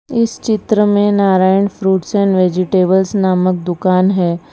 इस चित्र में नारायण फ्रूट्स एंड वेजिटेबल्स नामक दुकान है।